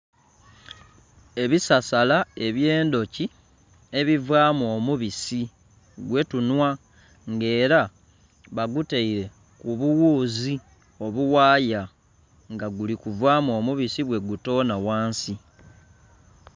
Ebisasala ebyendhoki ebivaamu omubisi gwe tunhwa nga era bagutaire ku bughuzi obughaya nga guli nkuvamu omubisi bwe gutonha ghansi.